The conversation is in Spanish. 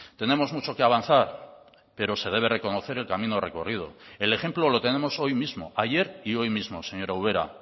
tenemos mucho que avanzar pero se debe reconocer el camino recorrido el ejemplo lo tenemos hoy mismo ayer y hoy mismo señora ubera